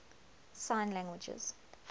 sign languages